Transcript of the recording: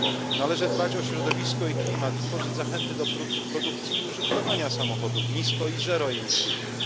Należy dbać o środowisko i klimat, i tworzyć zachęty do produkcji i użytkowania samochodów nisko i zeroemisyjnych.